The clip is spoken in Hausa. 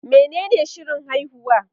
Menene shirin haihuwa?